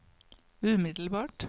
umiddelbart